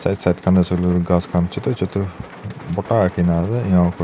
right side ghas khan chutu chutu borta rakhi na ase .